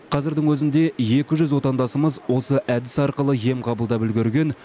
қазірдің өзінде екі жүз отандасымыз осы әдіс арқылы ем қабылдап үлгерген